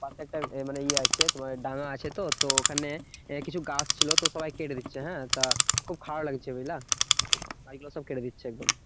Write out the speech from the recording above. পাশে একটা মানে ইয়ে আছে তোমার ডাঙ্গা আছে তো, তো ওখানে কিছু গাছ ছিল তো সবাই কেটে দিচ্ছে, হ্যাঁ? তা খুব খারাপ লাগছে বুঝলা? গাছ গুলা সব কেটে দিচ্ছে একদম।